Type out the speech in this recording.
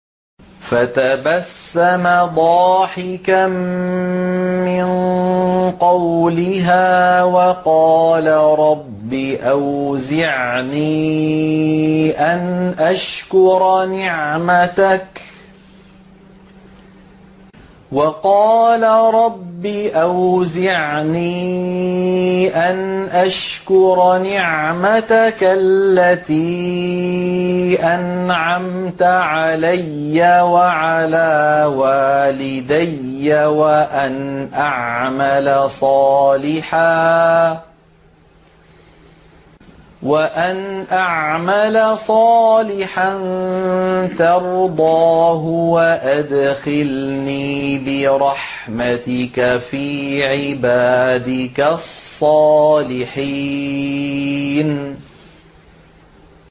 فَتَبَسَّمَ ضَاحِكًا مِّن قَوْلِهَا وَقَالَ رَبِّ أَوْزِعْنِي أَنْ أَشْكُرَ نِعْمَتَكَ الَّتِي أَنْعَمْتَ عَلَيَّ وَعَلَىٰ وَالِدَيَّ وَأَنْ أَعْمَلَ صَالِحًا تَرْضَاهُ وَأَدْخِلْنِي بِرَحْمَتِكَ فِي عِبَادِكَ الصَّالِحِينَ